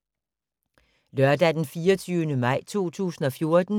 Lørdag d. 24. maj 2014